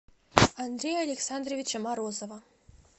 андрея александровича морозова